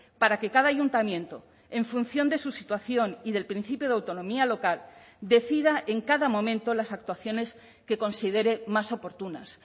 para que cada ayuntamiento en función de su situación y del principio de autonomía local decida en cada momento las actuaciones que considere más oportunas